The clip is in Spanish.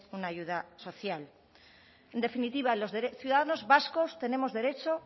una ayuda social en definitiva los ciudadanos vascos tenemos derecho